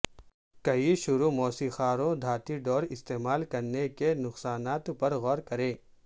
کئی شروع موسیقاروں دھاتی ڈور استعمال کرنے کے نقصانات پر غور کریں